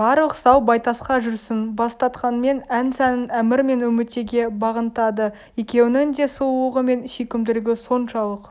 барлық сал байтасқа жүрсін бастатқанмен ән-сәнін әмір мен үмітейге бағынтады екеуінің де сұлулығы мен сүйкімділігі соншалық